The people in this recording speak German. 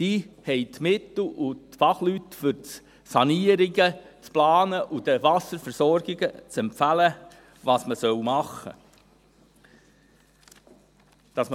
Diese haben die Mittel und die Fachleute, um Sanierungen zu planen und den Wasserversorgungen zu empfehlen, was man machen soll.